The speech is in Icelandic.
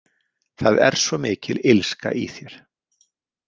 Það er svo mikil illska í þér.